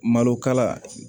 Malo kala